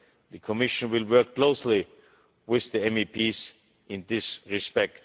The Commission will work closely with the MEPs in this respect.